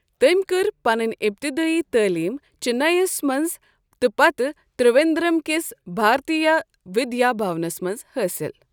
تٔمۍ کٔر پنٕنۍ ابتِدٲٮٔی تعلیم چِنےیَس منٛز تہٕ پتہٕ ترٛویندرم کِس بھارتیہ ودیا بھونس منٛز حٲصِل۔